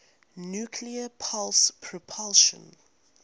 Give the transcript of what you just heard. nuclear pulse propulsion